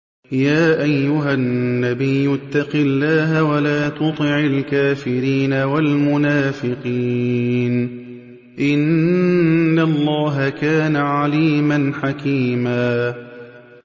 يَا أَيُّهَا النَّبِيُّ اتَّقِ اللَّهَ وَلَا تُطِعِ الْكَافِرِينَ وَالْمُنَافِقِينَ ۗ إِنَّ اللَّهَ كَانَ عَلِيمًا حَكِيمًا